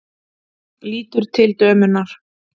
Lítur til dömunnar.